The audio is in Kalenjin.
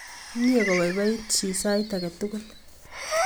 Mye kopaipait chi sait ake tukul